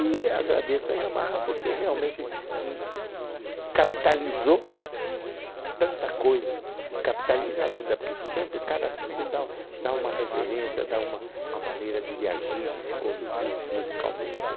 E agradeço a Yamaha porque realmente hum capitalizou tanta coisa e capitaliza ainda, porque sempre cada timbre dá u dá uma referência, dá uma uma maneira de de agir, de se conduzir musicalmente, né?